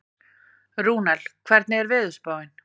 Rúnel, hvernig er veðurspáin?